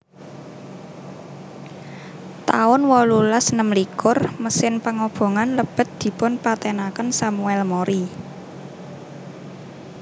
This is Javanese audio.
taun wolulas enem likur Mesin pangobongan lebet dipun patènaken Samuel Mori